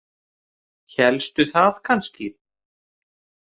Hélstu það kannski?